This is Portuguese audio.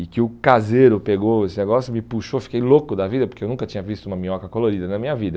e que o caseiro pegou esse negócio, me puxou, fiquei louco da vida, porque eu nunca tinha visto uma minhoca colorida na minha vida.